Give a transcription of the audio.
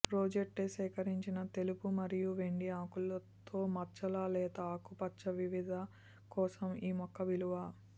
రోజెట్టే సేకరించిన తెలుపు మరియు వెండి ఆకులు తో మచ్చల లేత ఆకుపచ్చ వివిధ కోసం ఈ మొక్క విలువ